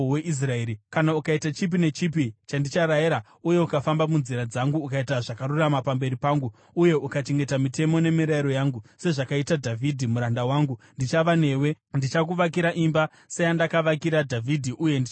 Kana ukaita chipi nechipi chandicharayira uye ukafamba munzira dzangu ukaita zvakarurama pamberi pangu uye ukachengeta mitemo nemirayiro yangu, sezvakaita Dhavhidhi muranda wangu, ndichava newe. Ndichakuvakira imba seyandakavakira Dhavhidhi uye ndichakupa Israeri.